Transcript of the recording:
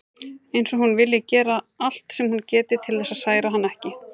Eins og hún vilji gera allt sem hún geti til þess að særa hann ekki.